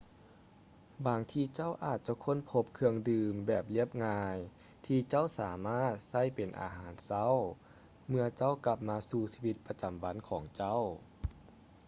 ບາງທີເຈົ້າອາດຈະຄົ້ນພົບເຄື່ອງດື່ມແບບລຽບງ່າຍ ທີ່ເຈົ້າສາມາດໃຊ້ເປັນອາຫານເຊົ້າ ເມື່ອເຈົ້າກັບມາສູ່ຊີວິດປະຈຳວັນຂອງເຈົ້າ